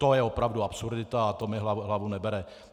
To je opravdu absurdita a to mi hlava nebere.